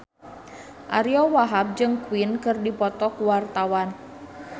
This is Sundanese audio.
Ariyo Wahab jeung Queen keur dipoto ku wartawan